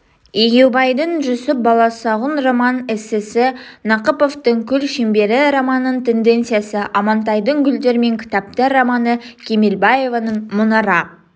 егеубайдың жүсіп баласұғын роман-эссесі нақыповтың күл шеңбері романыин тенциясы амантайдың гүлдер мен кітаптар романы кемелбаеваның мұнара